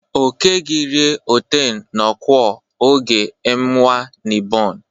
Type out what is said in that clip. Ọ keghi re ọtẹn nokhuo ọghe emwa nibun